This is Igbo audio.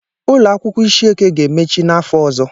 Ụlọ akwụkwọ ishieke ga-emechi n'afọ ọzọ.